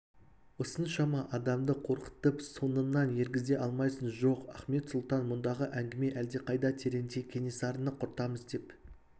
осыншама адамды қорқытып соңыңнан ергізе алмайсың жоқ ахмет сұлтан мұндағы әңгіме әлдеқайда тереңде кенесарыны құртамыз деп